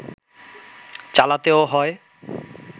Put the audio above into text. চালাতেও হয়